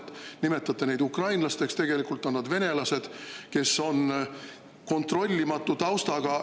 Te nimetate neid ukrainlasteks, tegelikult on nad venelased, kes on kontrollimatu taustaga.